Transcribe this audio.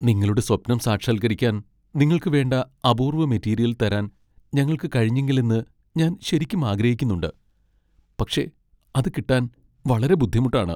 നിങ്ങളുടെ സ്വപ്നം സാക്ഷാൽകരിക്കാൻ നിങ്ങൾക്ക് വേണ്ട അപൂർവ്വ മെറ്റീരിയൽ തരാൻ ഞങ്ങൾക്ക് കഴിഞ്ഞെങ്കിലെന്ന് ഞാൻ ശരിക്കും ആഗ്രഹിക്കുന്നുണ്ട് , പക്ഷേ അത് കിട്ടാൻ വളരെ ബുദ്ധിമുട്ടാണ്.